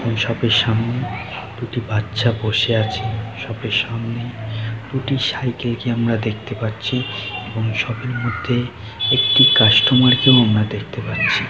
Shop -এর সামনে একটি বাচ্চা বসে আছে। শপ -এর সামনে দুটি সাইকেল -কে আমরা দেখতে পাচ্ছি এবং শপ -এর মধ্যে একটি কাস্টোমার -কে দেখতে পাচ্ছি ।